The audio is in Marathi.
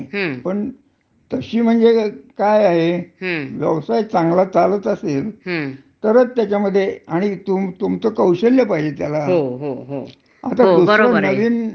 आता दुसर नवीन नवीन हे निघालेलं आहे, हं. की आय टी क्षेत्र, हं. तर तिथसुद्धा आता अस चाललयं. हं. की बऱ्याच प्रमाणावर म्हणजे त्यांचा व्यवसाय ही कामी व्हायला लागलाय.